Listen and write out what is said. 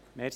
Geschäft